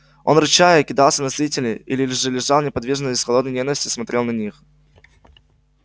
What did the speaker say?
он рычал и кидался на зрителей или же лежал неподвижно и с холодной ненавистью смотрел на них